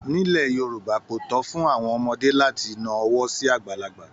Nílẹ̀ Yorùbá, kò tó fún àwọn ọmọdé láti na ọwọ́ sí àgbàlagbà